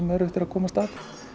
erfitt að komast að